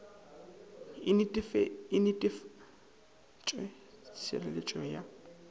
e netefatšwe go retšisetara ya